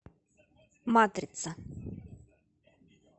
матрица